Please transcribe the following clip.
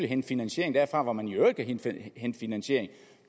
hente finansiering derfra hvor man i øvrigt kan hente finansiering